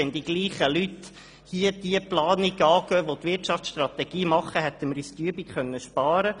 Wenn die gleichen Leute diese Planung hier angehen, dann könnten wir uns diese Übung ersparen.